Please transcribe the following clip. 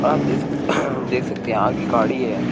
आप देख सक देख सकते हैं आगे गाड़ी है।